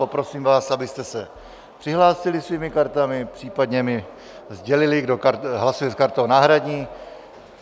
Poprosím vás, abyste se přihlásili svými kartami, případně mi sdělili, kdo hlasuje s kartou náhradní.